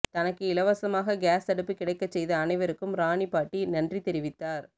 தனக்கு இலவசமாக கேஸ் அடுப்பு கிடைக்கச் செய்த அனைவருக்கும் ராணி பாட்டி நன்றிதெரிவித்தார்